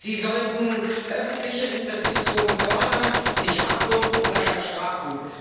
Sie sollten öffentliche Investitionen fördern, nicht abwürgen oder gar strafen.